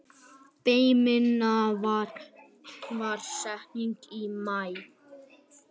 Fermingardagurinn var seinast í maí.